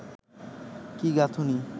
কি গাঁথুনি